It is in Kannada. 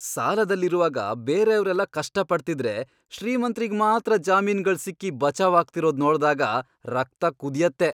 ಸಾಲದಲ್ಲಿರುವಾಗ ಬೇರೆಯವ್ರೆಲ್ಲ ಕಷ್ಟ ಪಡ್ತಿದ್ರೆ ಶ್ರೀಮಂತ್ರಿಗ್ ಮಾತ್ರ ಜಾಮೀನ್ಗಳ್ ಸಿಕ್ಕಿ ಬಚಾವಾಗ್ತಿರೋದ್ ನೋಡ್ದಾಗ ರಕ್ತ ಕುದ್ಯತ್ತೆ.